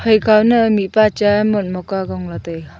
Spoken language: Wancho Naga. phai kaw ne mihpa chaa mot mok a zong lah taiga.